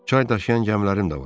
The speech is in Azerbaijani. Çay daşıyan gəmilərim də var.